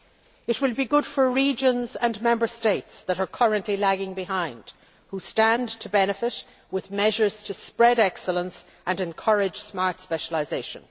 It will be good for regions and Member States that are currently lagging behind, which stand to benefit with measures to spread excellence and encourage smart specialisation.